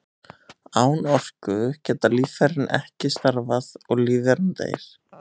Án orku geta líffærin ekki starfað og lífveran deyr.